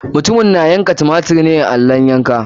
Mutumin na yanka tumatir ne a allon yanka.